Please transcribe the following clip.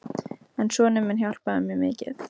En sonur minn hjálpaði mér mikið.